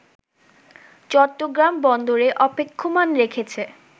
চট্টগ্রাম বন্দরে অপেক্ষমান রেখেছে